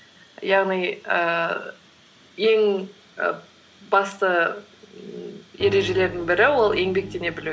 яғни ііі ең і басты ережелердің бірі ол еңбектене білу